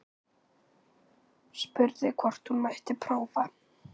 Spurði hvort hún mætti prófa.